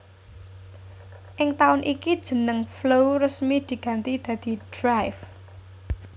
Ing taun iku jeneng flow resmi diganti dadi Drive